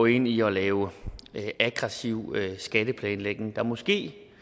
ind i at lave aggressiv skatteplanlægning der måske